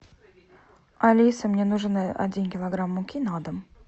алиса мне нужен один килограмм муки на дом